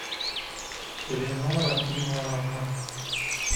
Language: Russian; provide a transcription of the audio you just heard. элеонора ивановна